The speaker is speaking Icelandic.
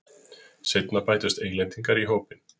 Seinna bættust Englendingar í hópinn.